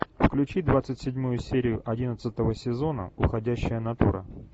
включи двадцать седьмую серию одиннадцатого сезона уходящая натура